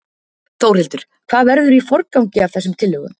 Þórhildur: Hvað verður í forgangi af þessum tillögum?